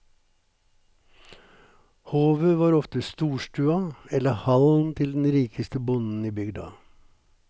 Hovet var ofte storstua, eller hallen til den rikeste bonden i bygda.